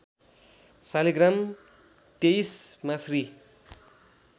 शालिग्राम तेईसमा श्री